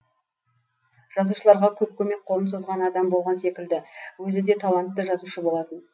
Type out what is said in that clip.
жазушыларға көп көмек қолын созған адам болған секілді өзі де талантты жазушы болатын